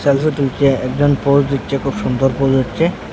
Photo তুলছে একজন pose দিচ্ছে খুব সুন্দর পোজ হচ্ছে।